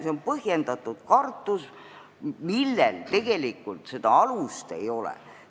See on põhjendatud kartus, millel aga tegelikult alust ei ole.